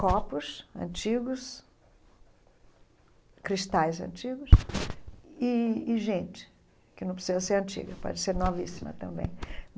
Copos antigos, cristais antigos e e gente, que não precisa ser antiga, pode ser novíssima também.